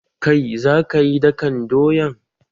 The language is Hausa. Kai za kayi dakan doyan!